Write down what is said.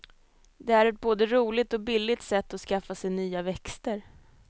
Det är ett både roligt och billigt sätt att skaffa sig nya växter.